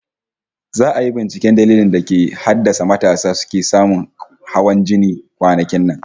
Za'a yi binciken dalilin da ke haddasa matasa suke samun hawan jini kwanakin nan